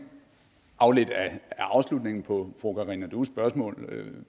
afledt af afslutningen på fru karina dues spørgsmål